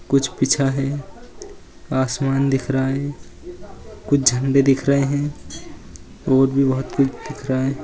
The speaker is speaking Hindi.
कुछ बिछा है आसमान दिख रहा है कुछ झंडे दिख रहे हैं और भी बहुत कुछ दिख रहा है।